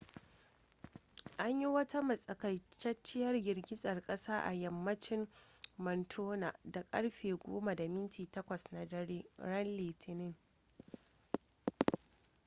an yi wata matsakaiciyar girgizar kasa a yammacin montana da karfe 10:08 na dare ran litinin